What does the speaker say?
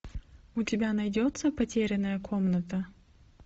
у тебя найдется потерянная комната